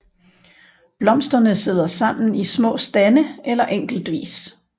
Blomsterne sidder sammen i små stande eller enkeltvis